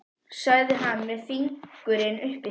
sagði hann með fingurinn uppi í sér.